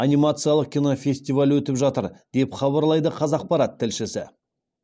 анимациялық кинофестиваль өтіп жатыр деп хабарлайды қазақпарат тілшісі